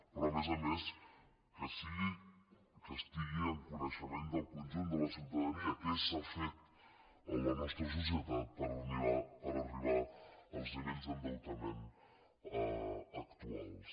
però a més a més que estigui en coneixement del conjunt de la ciutadania què s’ha fet en la nostra societat per arribar als nivells d’endeutament actuals